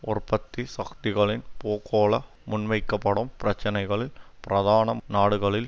உற்பத்தி சக்திகளின் பூகோள முன்வைக்கப்படும் பிரச்சினைகளில் பிரதான நாடுகளில்